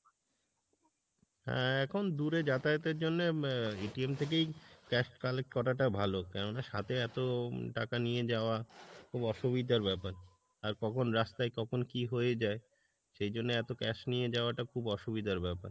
হ্যাঁ এখন দূরে যাতায়াত এর জন্যে আহ থেকেই cash collect করা টা ভালো কেননা সাথে এত টাকা নিয়ে যাওয়া, খুব অসুবিধার ব্যাপার আর কখন রাস্তাই কখন কি হয়ে যাই, সেইজন্যে এত cash নিয়ে যাওয়া টা খুব অসুবিধার ব্যাপার,